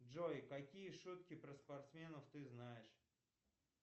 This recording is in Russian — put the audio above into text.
джой какие шутки про спортсменов ты знаешь